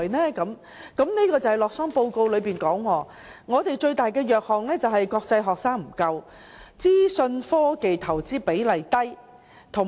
洛桑的全球競爭力報告指出，我們最大的弱點是國際學生不足，以及資訊科技的投資比例低。